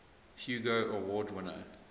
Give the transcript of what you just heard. hugo award winner